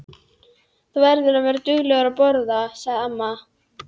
Þú verður að vera dugleg að borða, sagði amma.